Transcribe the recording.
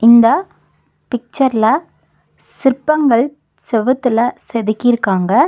இந்த பிக்சர்ல சிற்பங்கள் செவுத்துல செதுக்கியிருக்காங்க.